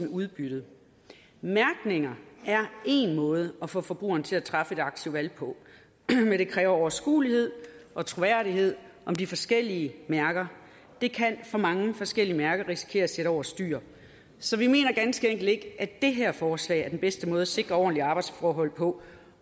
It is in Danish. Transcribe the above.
udbyttet mærkninger er én måde at få forbrugerne til at træffe et aktivt valg på men det kræver overskuelighed og troværdighed om de forskellige mærker og det kan for mange forskellige mærker risikere at sætte over styr så vi mener ganske enkelt ikke at det her forslag er den bedste måde at sikre ordentlige arbejdsforhold på